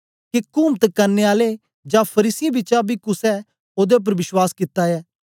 के कुमत करने आलें जां फरीसियें बिचा बी कुसे ओदे उपर विश्वास कित्ता ऐ